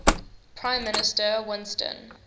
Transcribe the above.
prime minister winston